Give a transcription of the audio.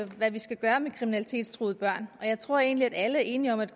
hvad vi skal gøre med kriminalitetstruede børn og jeg tror egentlig at alle er enige om at